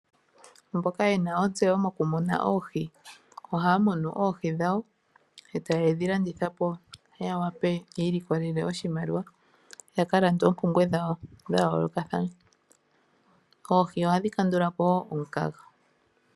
Aantu mboka yena ontseyo mokumuna oohi ohaga munu oohi dhawo etaye dhi landitha po yiilikolele oshimaliwa ya wape yaka lande oompumbwe dhawo dha yoolokatahana, oohi ohadhi kandula po wo omukaga.